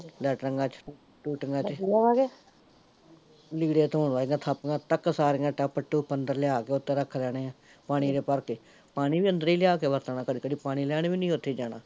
ਲੇਟਰਿੰਗਾ ਚ, ਟੂਟੀਆਂ ਚ ਲੀੜੇ ਧੋਣ ਵਾਲੀਆ ਥਾਪੀਆਂ ਤਕ ਸਾਰੀਆਂ ਲਿਆ ਟੱਪ ਟੁਪ ਲਿਆ ਕੇ ਅੰਦਰ ਉੱਤੋਂ ਰੱਖ ਲੈਣੇ ਐ, ਪਾਣੀ ਦੇ ਭਰ ਕੇ, ਪਾਣੀ ਵੀ ਅੰਦਰ ਲਿਆ ਕੇ ਵਰਤਣਾ ਕਦੀ ਕਦੀ ਪਾਣੀ ਲੈਣ ਵੀ ਨੀ ਓਥੇ ਜਾਣਾ